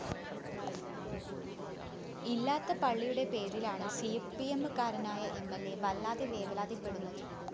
ഇല്ലാത്ത പള്ളിയുടെ പേരിലാണ് സിപിഎമ്മുകാരനായ എം ൽ അ വല്ലാതെ വേവലാതിപ്പെടുന്നത്